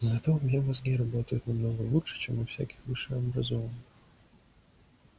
зато у меня мозги работают намного лучше чем у всяких высшеобразованных